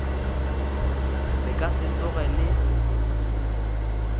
le ka se tsoge le